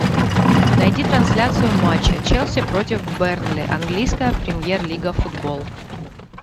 найди трансляцию матча челси против бернли английская премьер лига футбол